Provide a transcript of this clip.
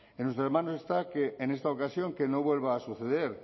en nuestras manos está que en esta ocasión que no vuelva a suceder